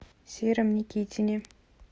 сером никитине